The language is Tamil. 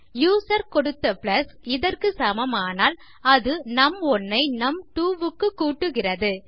யூசர் கொடுத்த பிளஸ் இதற்கு சமமானால் அது நும்1 ஐ நும்2 க்கு கூட்டுகிறது